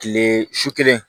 Kile su kelen